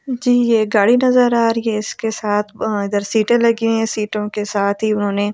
जी ये गाड़ी नजर आ रही है इसके साथ अं इधर सीटें लगी हैं सीटों के साथ ही उन्होने--